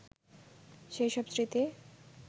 সেই সব স্মৃতি